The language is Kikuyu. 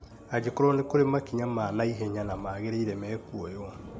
angĩkorwo nĩ kũrĩ makinya ma na ihenya na maagĩrĩire mekuoywo.